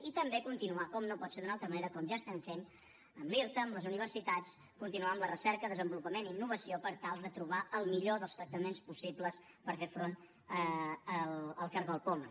i també continuar com no pot ser d’una altra manera com ja estem fent amb l’irta amb les universitats continuar amb la recerca desenvolupament i innovació per tal de trobar el millor dels tractaments possibles per fer front al cargol poma